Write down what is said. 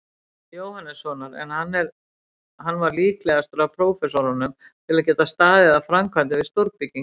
Jóhannessonar, en hann var líklegastur af prófessorunum að geta staðið að framkvæmdum við stórbyggingar.